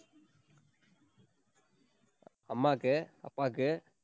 அம்மாக்கு, அப்பாக்கு